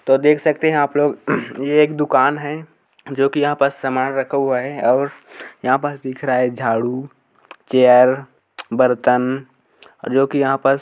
तो देख सकते हैं आप लोग ये एक दुकान है जो कि यहाँ पर सामान रखा हुआ है और यहाँ पर दिख रहा है झाड़ू चेयर बर्तन जो कि यहाँ पास--